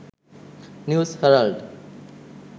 news herald